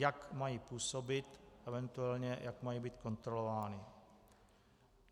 Jak mají působit, eventuálně jak mají být kontrolovány.